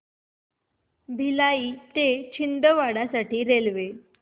भिलाई ते छिंदवाडा साठी रेल्वे